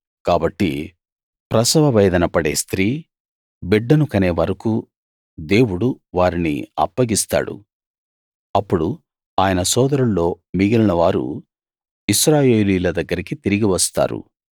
కాబట్టి ప్రసవవేదన పడే స్త్రీ బిడ్డను కనే వరకూ దేవుడు వారిని అప్పగిస్తాడు అప్పుడు ఆయన సోదరుల్లో మిగిలినవారు ఇశ్రాయేలీయుల దగ్గరికి తిరిగి వస్తారు